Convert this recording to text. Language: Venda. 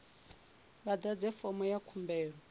vha ḓadze fomo ya khumbelo